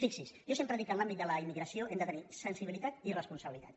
fixi·s jo sempre dic que en l’àmbit de la immigra·ció hem de tenir sensibilitat i responsabilitat